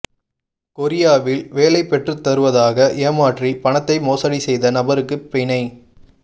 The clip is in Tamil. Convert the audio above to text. கொரியாவில் வேலை பெற்றுத்தருவதாக ஏமாற்றி பணத்தை மோசடி செய்த நபருக்கு பிணை